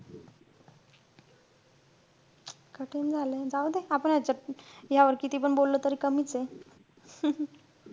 कठीण झालंय. जाऊ दे. आपण ह्याच्यात~ ह्यावर कितीपण बोललं त कमीचे